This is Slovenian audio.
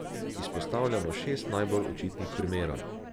Izpostavljamo šest najbolj očitnih primerov.